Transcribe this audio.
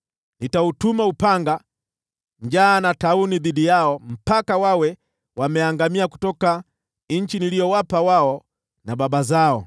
Nitautuma upanga, njaa na tauni dhidi yao hadi wawe wameangamia kutoka nchi niliyowapa wao na baba zao.’ ”